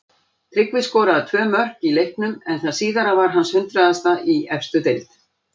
Tryggvi skoraði tvö mörk í leiknum en það síðara var hans hundraðasta í efstu deild.